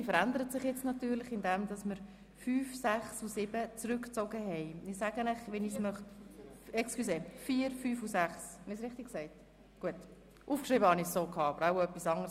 Diese verändert sich natürlich dadurch, dass die Planungserklärungen 4, 5 und 6 zurückgezogen worden sind.